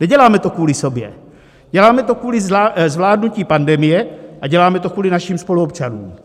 Neděláme to kvůli sobě, děláme to kvůli zvládnutí pandemie a děláme to kvůli našim spoluobčanům.